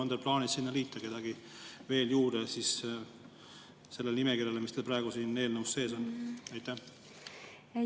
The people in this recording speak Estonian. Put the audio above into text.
On teil plaanis sinna liita kedagi veel juurde sellele nimekirjale, mis praegu siin sees on?